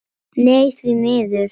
Nei, því miður.